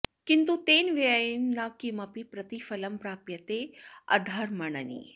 किन्तु तेन व्ययेन न किमपि प्रतिफलं प्राप्यते अधमर्णेन